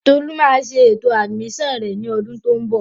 Tolu máa ṣe ètò àdìmísàn rẹ̀ ní ọdún tó ń bọ̀